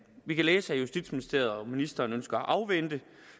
vi kan læse at justitsministeriet og ministeren ønsker at afvente